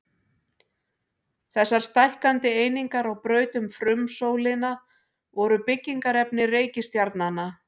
Þessar stækkandi einingar á braut um frumsólina voru byggingarefni reikistjarnanna.